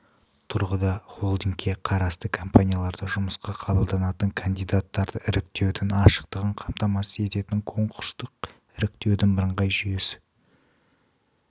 тұрғыда холдингке қарасты компанияларда жұмысқа қабылданатын кандидаттарды іріктеудің ашықтығын қамтамасыз ететін конкурстық іріктеудің бірыңғай жүйесі